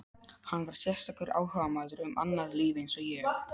Hann var sérstakur áhugamaður um annað líf eins og ég.